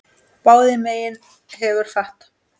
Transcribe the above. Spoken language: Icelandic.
Báðum megin hefur fat.